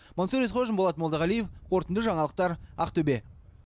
мансұр есқожин болат молдағалиев қорытынды жаңалықтар ақтөбе